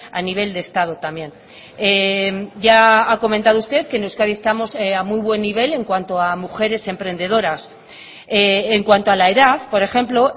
a nivel de estado también ya ha comentado usted que en euskadi estamos a muy buen nivel en cuanto a mujeres emprendedoras en cuanto a la edad por ejemplo